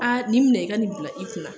Aa nin minɛn i ka nin bila kunna na.